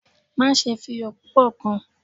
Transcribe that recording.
Maṣe fi iyọ pupọ kun!